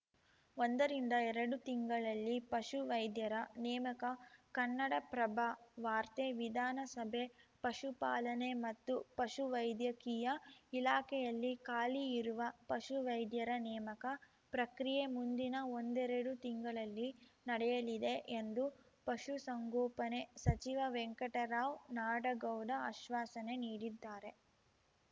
ಒಂದ ರಿಂದ ಎರಡು ತಿಂಗಳಲ್ಲಿ ಪಶು ವೈದ್ಯರ ನೇಮಕ ಕನ್ನಡಪ್ರಭ ವಾರ್ತೆ ವಿಧಾನಸಭೆ ಪಶುಪಾಲನೆ ಮತ್ತು ಪಶುವೈದ್ಯಕೀಯ ಇಲಾಖೆಯಲ್ಲಿ ಖಾಲಿ ಇರುವ ಪಶು ವೈದ್ಯರ ನೇಮಕ ಪ್ರಕ್ರಿಯೆ ಮುಂದಿನ ಒಂದೆರಡು ತಿಂಗಳಲ್ಲಿ ನಡೆಯಲಿದೆ ಎಂದು ಪಶುಸಂಗೋಪನೆ ಸಚಿವ ವೆಂಕಟರಾವ್‌ ನಾಡಗೌಡ ಅಶ್ವಾಸನೆ ನೀಡಿದ್ದಾರೆ